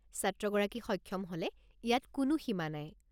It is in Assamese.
ছাত্ৰগৰাকী সক্ষম হ'লে ইয়াত কোনো সীমা নাই।